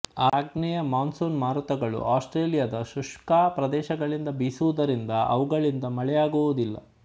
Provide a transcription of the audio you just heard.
ಆಗ್ನೇಯ ಮಾನ್ಸೂನ್ ಮಾರುತಗಳು ಆಸ್ಟ್ರೇಲಿಯದ ಶುಷ್ಕ ಪ್ರದೇಶಗಳಿಂದ ಬೀಸುವುದರಿಂದ ಅವುಗಳಿಂದ ಮಳೆಯಾಗುವುದಿಲ್ಲ